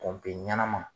ɲɛnama